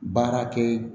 Baarakɛ